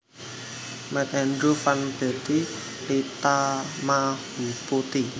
Met medew van Betty Litamahuputty